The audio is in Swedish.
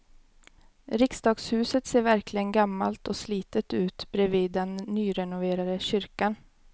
Riksdagshuset ser verkligen gammalt och slitet ut bredvid den nyrenoverade kyrkan.